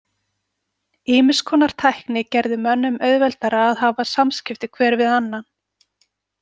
Ýmiss konar tækni gerði mönnum auðveldara að hafa samskipti hver við annan.